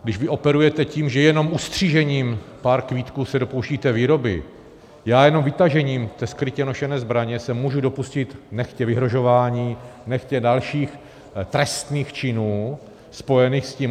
Když vy operujete tím, že jenom ustřižením pár kvítků se dopouštíte výroby, já jenom vytažením té skrytě nošené zbraně se můžu dopustit nechtě vyhrožování, nechtě dalších trestných činů spojených s tím.